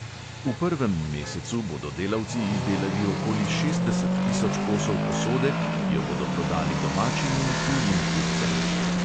V prvem mesecu bodo delavci izdelali okoli šestdeset tisoč kosov posode, ki jo bodo prodali domačim in tujim kupcem.